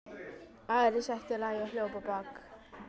Ari sætti lagi og hljóp á bak.